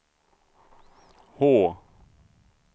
H